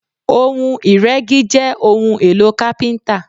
Ohun iregi jẹ́ ohun-èlò kapinta.